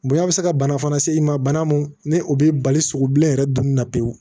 Bonɲa bɛ se ka bana fana se i ma bana mun ni o bɛ bali sogo bilen yɛrɛ dunni na pewu